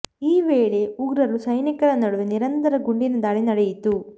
ಈ ವೇಳೆ ಉಗ್ರರು ಸೈನಿಕರ ನಡುವೆ ನಿರಂತರ ಗುಂಡಿನ ದಾಳಿ ನಡೆಯಿತು